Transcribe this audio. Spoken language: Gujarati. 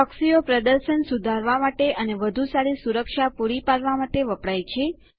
પ્રોક્સીઓ પ્રદર્શન સુધારવા માટે અને વધુ સારી સુરક્ષા પૂરી પાડવા માટે વપરાય છે